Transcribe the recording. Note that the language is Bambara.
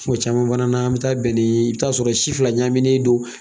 caman fana, an mi taa bɛn ni i bi taa sɔrɔ si fila ɲagaminen non